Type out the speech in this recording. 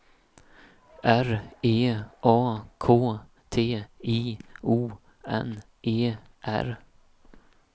R E A K T I O N E R